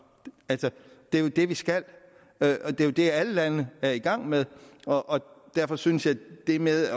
det er jo det vi skal det er jo det alle lande er i gang med derfor synes jeg at det med